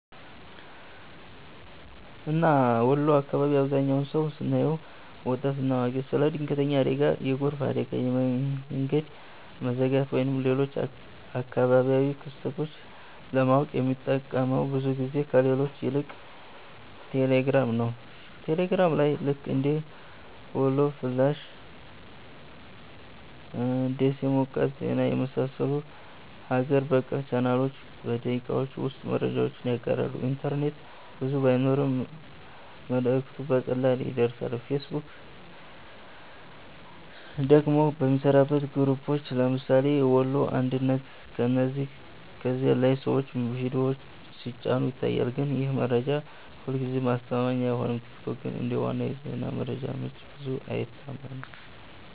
እና ወሎ አካባቢ አብዛህኛው ሰው ስናየው( ወጣት እና አዋቂ) ስለ ድንገተኛ አደጋ፣ የጎርፍ አደጋ፣ የመንገድ መዘጋት ወይም ሌሎች አካባቢያዊ ክስተቶች ለማወቅ የሚጠቀመው ብዙ ጊዜ ከሌሎች ይልቅ ቴሌግራም ነው። ቴሌግራም ላይ ልክ እንደ "ወሎ ፍላሽ''፣ “ደሴ ሞቃት ዜና” የመሰሉ ሀገር በቀል ቻናሎች በደቂቃዎች ውስጥ መረጃውን ያጋራሉ፤ ኢንተርኔት ብዙ ባይኖርም መልእክቱ በቀላሉ ይደርሳል። ፌስቡክ ደግሞ የሚሠራበት በግሩፖች (ለምሳሌ “ወሎ አንድነት”) ሲሆን ከዚያ ላይ ሰዎች ምስልና ቪዲዮ ሲጭኑ ይታያል፣ ግን ይህ መረጃ ሁልጊዜ አስተማማኝ አይሆንም። ቲክቶክ ግን እንደ ዋና የዜና መረጃ ምንጭ ብዙ አይታመንም።